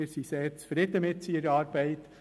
Wir sind sehr zufrieden mit seiner Arbeit.